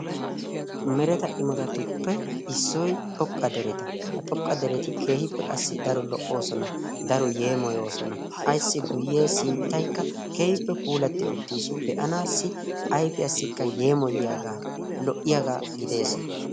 Mereta imotatuppe issoy xoqqa dereta. Ha xoqqa dereti keehippe qassi daro lo''oosona daro yeemoyoosona. Ayssi guyye sinttaykka keehippe puulatti uttiis. Be'anassi ayfiyassikka yeemoyiyaaga lo'iyaagaa gidees.